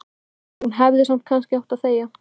Hún hefði samt kannski átt að þegja.